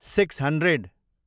six hundred